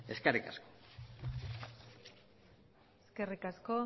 eskerrik asko eskerrik asko